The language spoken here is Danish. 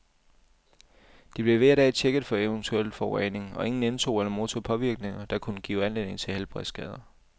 De blev hver dag checket for eventuelt forurening, og ingen indtog eller modtog påvirkninger, der kunne give anledning til helbredsskader.